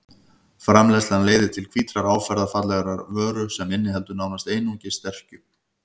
Framleiðslan leiðir til hvítrar áferðarfallegrar vöru sem inniheldur nánast einungis sterkju.